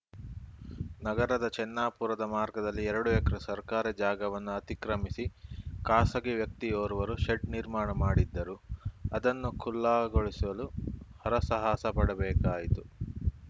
ನಗರದ ಚೆನ್ನಾಪುರದ ಮಾರ್ಗದಲ್ಲಿ ಎರಡು ಎಕರೆ ಸರ್ಕಾರಿ ಜಾಗವನ್ನು ಅತಿಕ್ರಮಿಸಿ ಖಾಸಗಿ ವ್ಯಕ್ತಿಯೋರ್ವರು ಶೆಡ್‌ ನಿರ್ಮಾಣ ಮಾಡಿದ್ದರು ಅದನ್ನು ಖುಲ್ಲಾಗೊಳಿಸಲು ಹರಸಾಹಸ ಪಡಬೇಕಾಯಿತು